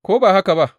Ko ba haka ba?